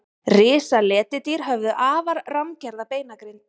risaletidýr höfðu afar rammgerða beinagrind